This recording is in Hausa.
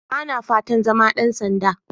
Ba na fatan zama ɗan sanda.